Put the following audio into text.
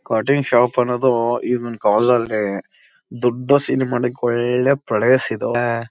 Cutting shop ಅನ್ನೋದು ಈಗಿನ ಕಾಲದಲ್ಲಿ ದೊಡ್ಡ ಮಾಡ್ಲಿಕ್ಕೆ ಒಳ್ಳೆ ಪ್ಲೇಸ್ ಇದು.